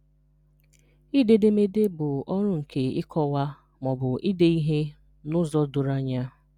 Ide edemede bụ ọrụ nke ịkọwa ma ọ bụ ide ihe n'ụzọ doro anya.